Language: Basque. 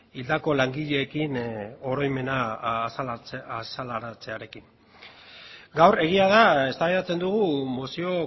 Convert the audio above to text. hildako langileekin oroimena azalaratzearekin gaur egian da eztabaidatzen dugu mozio